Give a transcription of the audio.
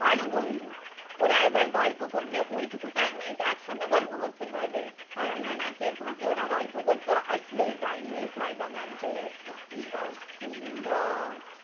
ভালো বন্ধু। ওরা এবার গল্প করবে ঐটুকু time এইতো একসাথে গল্প করতে পারবে। আর আমরা নাচের ফাঁকে ওরা গল্প করতো। আর সেই time এই sir বা mam চলে আসতো। কি অসুবিধা?